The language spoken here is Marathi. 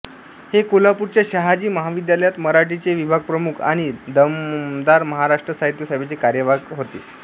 हे कोल्हापूरच्या शहाजी महाविद्यालयात मराठीचे विभागप्रमुख आणि दमहाराष्ट्र साहित्य सभेचे कार्यवाहक होते